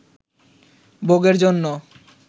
ভোগের জন্য